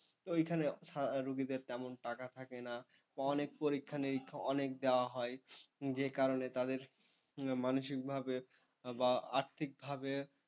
তো এইখানে রুগীদের তেমন টাকা থাকে না, অনেক পরীক্ষানিরীক্ষা অনেক দেওয়া হয় যে কারণে তাদের মানসিকভাবে বা আর্থিকভাবে,